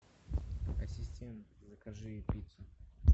ассистент закажи пиццу